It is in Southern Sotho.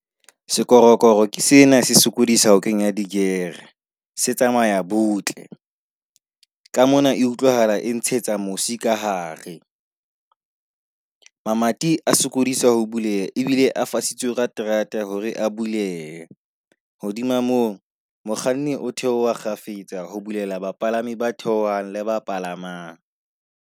Sekorokoro ke sena se sokodisa ho kenya di-gear-e, se tsamaya butle. Ka mona e utlwahala e ntshetsa mosi ka hare. Mamati a sokodiswa ho bulela ebile a fasitse ka terata hore a bulehe. Hodima moo mokganni o theoha kgafetsa ho bulela bapalami ba theohang le ba palamang.